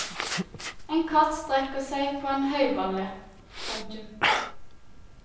En katt strekker seg på en høyballe. punktum